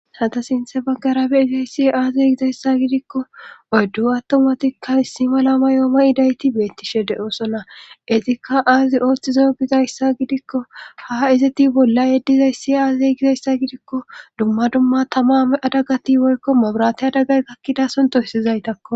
hata sinthe baggarabe izayssi aazey gizayssa gidikko oyddu attomatikka issi malama yooma idayti beettishe de7oosona izikka aazi ooththizo gizayssa gidikko ha izeti bolla yeddizay si aazey gizayssa gidikko dumma dumma tama adagati boykko maburate adagay gakkidason toyssizaytakko